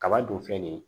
Kaba dun filɛ nin ye